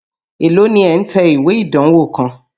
Èló ni ẹ̀ ń tẹ ìwé ìdánwó kan?